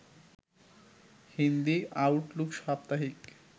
Hindi Outlook সাপ্তাহিক